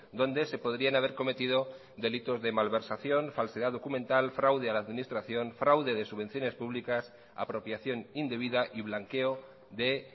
donde se podrían haber cometido delitos de malversación falsedad documental fraude a la administración fraude de subvenciones públicas apropiación indebida y blanqueo de